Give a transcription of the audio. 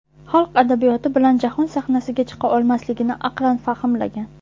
Xalq adabiyoti bilan jahon sahnasiga chiqa olmasligini aqlan fahmlagan.